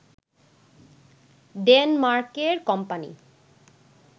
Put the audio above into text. ডেনমার্কের কোম্পানি